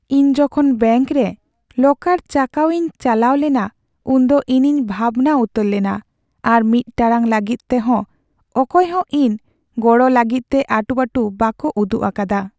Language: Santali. ᱤᱧ ᱡᱚᱠᱷᱚᱱ ᱵᱮᱝᱠ ᱨᱮ ᱞᱚᱠᱟᱨ ᱪᱟᱠᱟᱣ ᱤᱧ ᱪᱟᱞᱟᱣ ᱞᱮᱱᱟ ᱩᱱᱫᱚ ᱤᱧᱤᱧ ᱵᱷᱟᱵᱽᱱᱟ ᱩᱛᱟᱹᱨ ᱞᱮᱱᱟ ᱟᱨ ᱢᱤᱫ ᱴᱟᱲᱟᱝ ᱞᱟᱹᱜᱤᱫ ᱛᱮᱦᱚᱸ ᱚᱠᱚᱭ ᱦᱚᱸ ᱤᱧ ᱜᱚᱲᱚ ᱞᱟᱹᱜᱤᱫ ᱛᱮ ᱟᱴᱩᱼᱯᱟᱹᱴᱩ ᱵᱟᱠᱚ ᱩᱫᱩᱜ ᱟᱠᱟᱫᱟ ᱾